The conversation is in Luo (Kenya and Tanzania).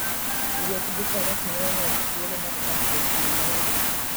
Wuoth gi faras miyo ng'ato thuolo mar dak e thim ma onge koko.